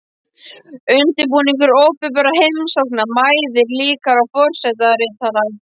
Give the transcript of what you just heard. Undirbúningur opinberra heimsókna mæðir líka á forsetaritara.